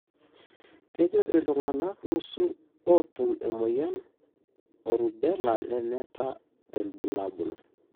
kajo iltungana nusu otum emoyian erubella lemeta ilbulabul,